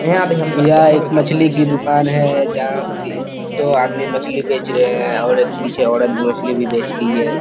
यह एक मछली की दूकान है जहा पे इस सब आदमी मछली बेच रहे है और एक पीछे औरत मछली भी बेच रही है |